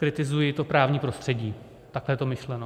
Kritizuji to právní prostředí, tak je to myšleno.